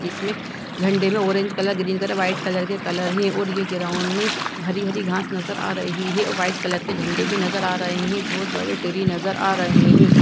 जिसमे झंडे में orange colour green colour white colour के कलर हैं और यह ग्राउंड में हरी-हरी घास नज़र आ रही हैं व्हाइट कलर के झंडे भी नज़र आ रहे हैं बहोत बड़े ट्री नज़र आ रहे हैं।